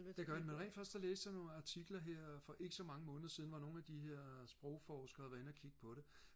det gør de men rent faktisk så læste jeg nogle artikler her for ikke så mange måneder siden hvor nogle af de her sprogforskere har været inde og kigge på det